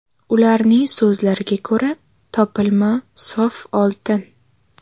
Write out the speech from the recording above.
Ularning so‘zlariga ko‘ra, topilma sof oltin.